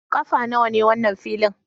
Kafa nawa ne wannan filin?